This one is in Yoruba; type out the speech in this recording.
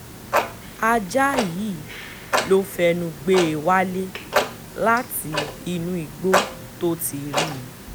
ajá yìí ló fẹnu gbé e wálé láti inú igbó tó ti rí i